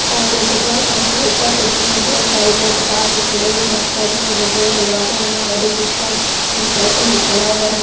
और petrol pump के ऊपर पेट्रोल बहुत सारे लोग कतार में खड़े हुए मोटर साइकिलों में पेट्रोल डालवा रहे और एक रिक्शा साइकिल भी खड़ा हुआ है।